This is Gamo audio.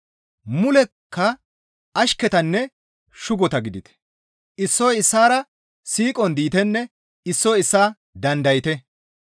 Mulekka ashketanne shugota gidite; issoy issaara siiqon diitenne issoy issaa dandayte.